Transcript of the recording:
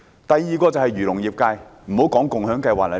第二，便是漁農業界人士。